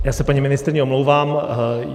Já se paní ministryni omlouvám.